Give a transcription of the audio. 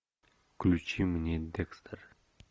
включи мне декстер